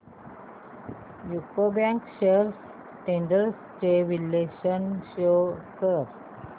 UCO bank shares trends चे विश्लेषण show कर